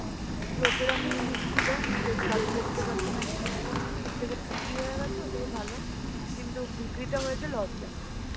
লোকেরা নিয়ে নিচ্ছিল সেইতো দাদু বসতে পারছে না গিয়ে তার থেকে বিক্রি হয়ে গেছে ওটাই ভালো. কিন্তু বিক্রিটা হয়েছে loss এ